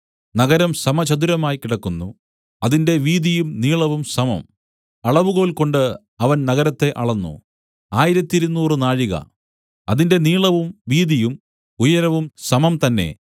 നഗരം സമചതുരമായി കിടക്കുന്നു അതിന്റെ വീതിയും നീളവും സമം അളവുകോൽകൊണ്ട് അവൻ നഗരത്തെ അളന്നു ആയിരത്തിരുനൂറ് നാഴിക അതിന്റെ നീളവും വീതിയും ഉയരവും സമം തന്നേ